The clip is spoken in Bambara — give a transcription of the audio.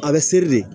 A bɛ seri de